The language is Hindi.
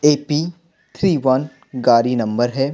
ए_पि थ्री वन गाड़ी नंबर है।